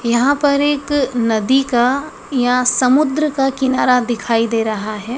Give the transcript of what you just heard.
यहां पर एक नदी का या समुद्र का किनारा दिखाई दे रहा है।